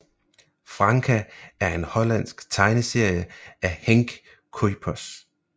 Franka er en hollandsk tegneserie af Henk Kuijpers